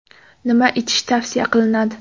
Nima ichish tavsiya qilinadi?